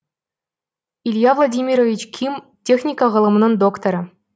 илья владимирович ким техника ғылымының докторы